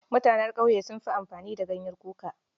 Mutanen ƙauye sun fi amfani da ganyen kuka.